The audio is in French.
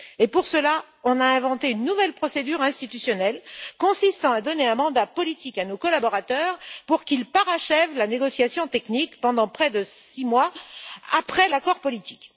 Et pour cela, on a inventé une nouvelle procédure institutionnelle consistant à donner un mandat politique à nos collaborateurs pour qu'ils parachèvent la négociation technique pendant près de 6 mois après l'accord politique.